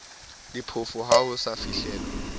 diphofu ha ho sa fihlelwa